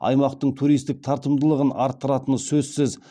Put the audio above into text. аймақтың туристік тартымдылығын арттыратыны сөзсіз